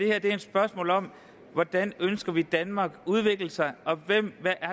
er et spørgsmål om hvordan vi ønsker at danmark udvikler sig og